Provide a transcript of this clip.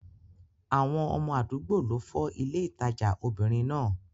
Àwọn ọmọ àdúgbò ló fọ́ ilé ìtajà obìnrin náà.